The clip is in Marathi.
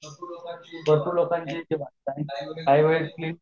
भरपूर लोकांची काही व्यक्ती